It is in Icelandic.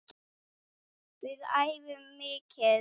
Við æfum mikið.